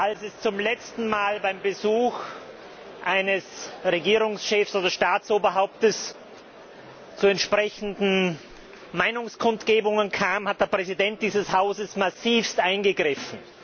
Als es zum letzten Mal beim Besuch eines Regierungschefs oder Staatsoberhauptes zu entsprechenden Meinungskundgebungen kam, hat der Präsident dieses Hauses massivst eingegriffen.